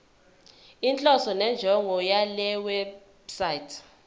inhloso nenjongo yalewebsite